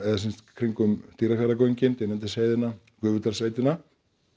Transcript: kringum Dýrafjarðargöngin Dynjandisheiðina Gufudalssveitina